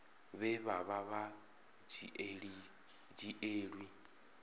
vhe vha vha sa dzhielwi